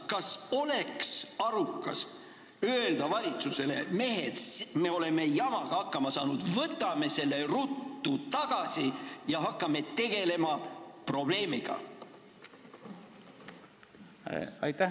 Kas oleks arukas öelda valitsusele: mehed, me oleme jamaga hakkama saanud, võtame selle eelnõu ruttu tagasi ja hakkame probleemiga tegelema?